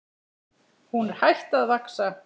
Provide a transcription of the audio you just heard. Hún er hætt að vaxa!